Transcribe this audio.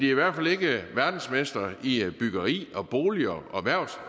i hvert fald ikke verdensmestre i byggeri boliger